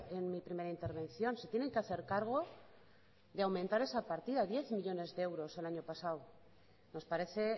en mi primera intervención se tienen que hacer cargo de aumentar esa partida diez millónes de euros el año pasado nos parece